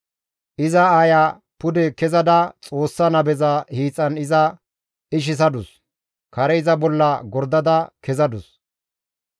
Iza aaya pude kezada Xoossa nabeza hiixan iza ishisadus; kare iza bolla gordada kezadus.